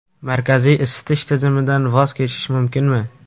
Markaziy isitish tizimidan voz kechish mumkinmi?.